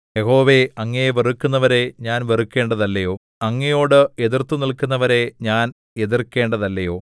യഹോവേ അങ്ങയെ വെറുക്കുന്നവരെ ഞാൻ വെറുക്കേണ്ടതല്ലയോ അങ്ങയോട് എതിർത്തുനില്ക്കുന്നവരെ ഞാൻ എതിർക്കേണ്ടതല്ലയോ